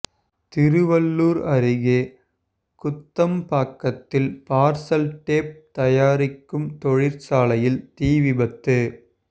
திருவள்ளுர் அருகே குத்தம்பாக்கத்தில் parcel tape தயாரிக்கும் தொழிற்சாலையில் தீ விபத்து